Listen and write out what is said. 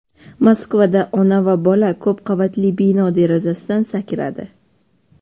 Moskvada ona va bola ko‘p qavatli bino derazasidan sakradi.